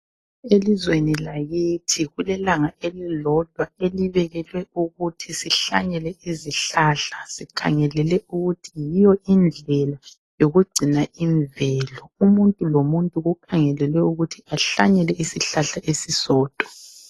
Elizweni lakithi kulelanga elilodwa elibekelwe ukuthi sihlanyele izihlahla. Sikhangelele ukuthi yiyo indlela yoku gcina imvelo. Umuntu lo muntu kukhangelelwe ukuthi ahlanyele isihlahla esisodwa.